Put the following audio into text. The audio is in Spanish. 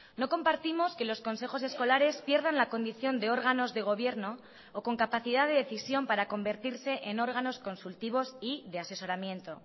no compartimos que los consejos escolares pierdan la condición de órganos de gobierno o con capacidad de decisión para convertirse en órganos consultivos y de asesoramiento